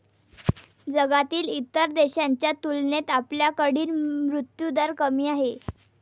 जगातील इतर देशांच्या तुलनेत आपल्याकडील मृत्यूदर कमी आहे.